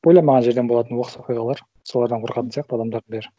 ойламаған жерден болатын оқыс оқиғалар солардан қорқатын сияқты адамдардың бәрі